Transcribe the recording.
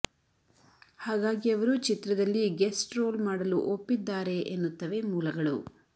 ಹಾಗಾಗಿ ಅವರು ಚಿತ್ರದಲ್ಲಿ ಗೆಸ್ಟ್ ರೋಲ್ ಮಾಡಲು ಒಪ್ಪಿದ್ದಾರೆ ಎನ್ನುತ್ತವೆ ಮೂಲಗಳು